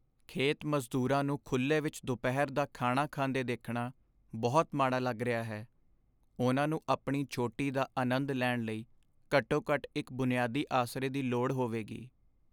ਖੇਤ ਮਜ਼ਦੂਰਾਂ ਨੂੰ ਖੁੱਲ੍ਹੇ ਵਿੱਚ ਦੁਪਹਿਰ ਦਾ ਖਾਣਾ ਖਾਂਦੇ ਦੇਖਣਾ ਬਹੁਤ ਮਾੜਾ ਲੱਗ ਰਿਹਾ ਹੈ ਉਹਨਾਂ ਨੂੰ ਆਪਣੀ ਛੋਟੀ ਦਾ ਆਨੰਦ ਲੈਣ ਲਈ ਘੱਟੋ ਘੱਟ ਇੱਕ ਬੁਨਿਆਦੀ ਆਸਰੇ ਦੀ ਲੋੜ ਹੋਵੇਗੀ